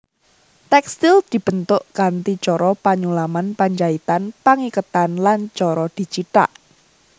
Tèkstil dibentuk kanthi cara penyulaman penjaitan pangiketan lan cara dicithak